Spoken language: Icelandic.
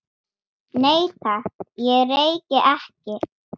Nei, takk, ég reyki ekki